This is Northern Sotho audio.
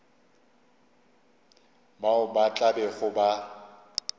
bao ba tla bego ba